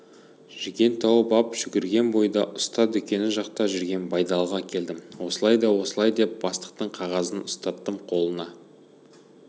жүген тауып ап жүгірген бойда ұста дүкені жақта жүрген байдалыға келдім осылай да осылай деп бастықтың қағазын ұстаттым қолына